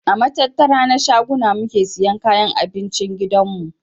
A matattara na shaguna muke siyan kayan abincin gidan mu.